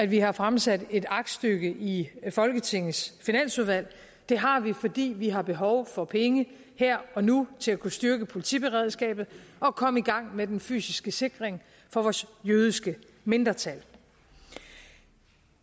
vi har fremsat et aktstykke i folketingets finansudvalg det har vi fordi vi har behov for penge her og nu til at kunne styrke politiberedskabet og komme i gang med den fysiske sikring for vores jødiske mindretal